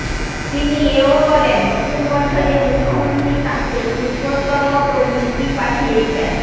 তিনি এও বলেন নতুন বছরে মুখ্যমন্ত্রী তাঁকে পুষ্পস্তবক ও মিষ্টি পাঠিয়েছেন